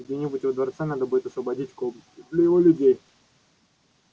где-нибудь во дворце надо будет освободить комнаты для его людей